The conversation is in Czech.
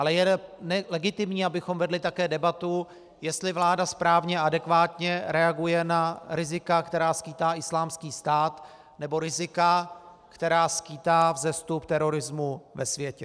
Ale je legitimní, abychom vedli také debatu, jestli vláda správně a adekvátně reaguje na rizika, která skýtá Islámský stát, nebo rizika, která skýtá vzestup terorismu ve světě.